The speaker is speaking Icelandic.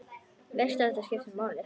Veist að þetta skiptir máli.